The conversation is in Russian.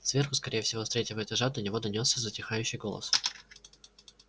сверху скорее всего с третьего этажа до него донёсся затихающий голос